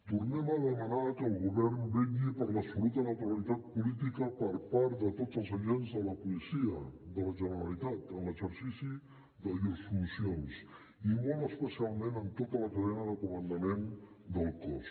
tornem a demanar que el govern vetlli per l’absoluta neutralitat política per part de tots els agents de la policia de la generalitat en l’exercici de llurs funcions i molt especialment en tota la cadena de comandament del cos